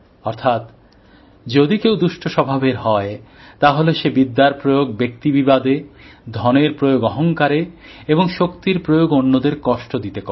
অর্থাৎ যদি কেউ দুষ্ট স্বভাবের হয় তাহলে সে বিদ্যার প্রয়োগ ব্যক্তি বিবাদে ধনের প্রয়োগ অহংকারে এবং শক্তির প্রয়োগ অন্যদের কষ্ট দিতে করে